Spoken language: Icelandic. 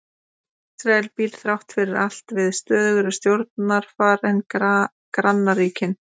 Ísrael býr þrátt fyrir allt við stöðugra stjórnarfar en grannríkin.